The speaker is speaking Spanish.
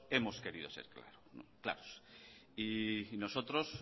hemos querido ser claros nosotros